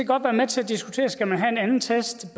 godt være med til diskutere skal have en anden test